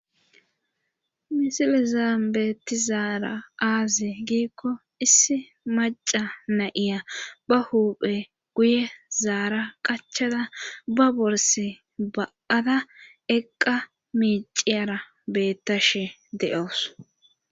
Misilizaambeeti zaara aaze giikko issi maca nayiya ba huuphe guye zaara qachada ba borse ba,ada eqqa miiciyara beettashe de,oos